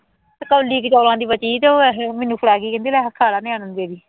ਕੌਲੀ ਕੁ ਚੌਲਾਂ ਦੀ ਬਚੀ ਸੀ ਉਹ ਇਸ ਲੋਟ ਮੈਨੂੰ ਫੜ੍ਹਾ ਗਈ ਕਹਿੰਦੀ ਲੈ ਖਾ ਲੈ ਨਿਆਣਿਆਂ ਨੂੰ ਦੇ ਦੀਂ